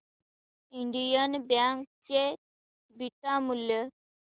Indian bank चे beta मूल्य